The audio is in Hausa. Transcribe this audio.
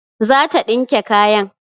Zata dinke kayan